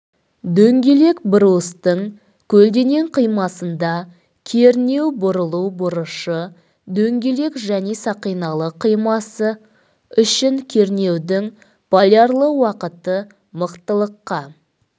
дөңгелек брустың көлденең қимасында кернеу бұрылу бұрышы дөңгелек және сақиналы қимасы үшін кернеудің полярлы уақыты мықтылыққа